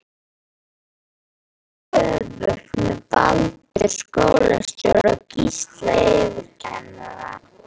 Það var alveg öfugt með Baldur skólastjóra og Gísla yfirkennara.